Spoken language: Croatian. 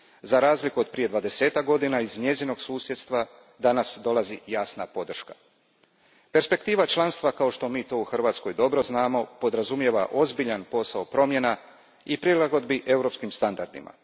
Za razliku otprije dvadesetak godina iz njezinog susjedstva danas dolazi jasna podrška. Perspektiva članstva, kao što mi to u Hrvatskoj dobro znamo, podrazumijeva ozbiljan posao promjena i prilagodbi europskim standardima.